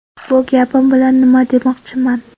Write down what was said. Bu gapim bilan nima demoqchiman.